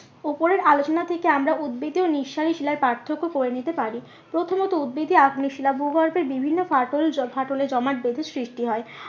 উপরের আলোচনা থেকে আমরা উদবেধীয় নিঃসারী শিলার পার্থক্য করে নিতে পারি। প্রথমত উদবেধী আগ্নেয় শিলা ভূগর্ভের বিভিন্ন ফাটল ফাটলে জমাট বেঁধে সৃষ্টি হয়।